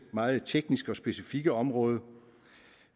meget tekniske og specifikke område